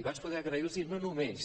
i vaig poder agrair·los no només